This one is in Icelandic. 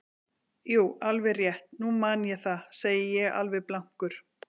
Jú, alveg rétt, nú man ég það, segi ég alveg blankur.